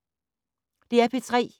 DR P3